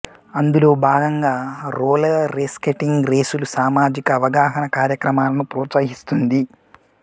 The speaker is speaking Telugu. అందులో భాగంగా రోలర్స్కేటింగ్ రేసులు సామాజిక అవగాహన కార్యక్రమాలను ప్రోత్సహిస్తుంది